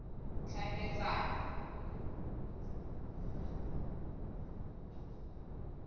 tlhaeletsano